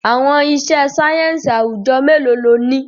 Àwọn iṣẹ́ sáyẹ́ǹsì àwùjọ mélòó lo ní?